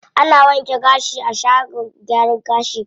Ana wanke gashi a shagon gyaran gashi.